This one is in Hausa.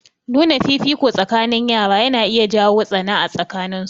Nuna fifiko tsakanin yara na iya jawo tsana a tsakanin su.